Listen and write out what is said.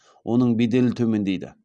оның беделі төмендейді